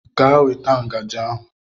Gaa weta ngaji ahụ.